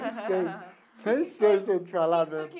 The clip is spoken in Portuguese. Nem sei nem sei se eu te falar a.